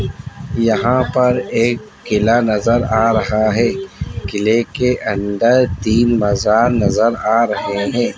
यहाँ पर एक किला नजर आ रहा है। किले के अंदर तीन बाजार नजर आ रहें हैं।